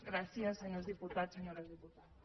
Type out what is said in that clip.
gràcies senyors diputats senyores diputades